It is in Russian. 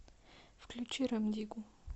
включи рем диггу